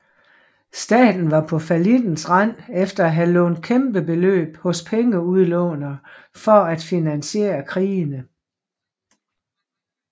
Staten var på fallittens rand efter at have lånt kæmpe beløb hos pengeudlånere for at finansiere krigene